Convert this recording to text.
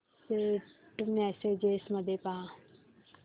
Saint messages मध्ये पहा